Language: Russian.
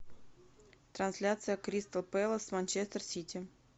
трансляция кристал пэлас с манчестер сити